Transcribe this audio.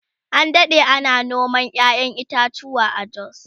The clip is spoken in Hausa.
an Dade ana noman ƴaƴan itatuwa a jos